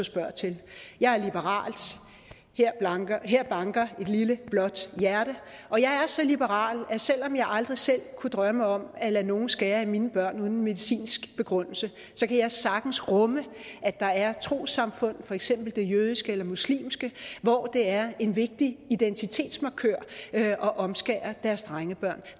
spørger ind til jeg er liberal her banker et blåt hjerte og jeg er så liberal at selv om jeg aldrig selv kunne drømme om at lade nogen skære i mine børn uden en medicinsk begrundelse kan jeg sagtens rumme at der er trossamfund for eksempel det jødiske eller muslimske hvor det er en vigtig identitetsmarkør at omskære deres drengebørn